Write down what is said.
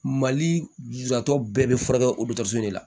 Mali lujuratɔ bɛɛ bɛ furakɛ otoso de la